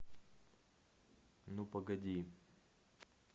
ну погоди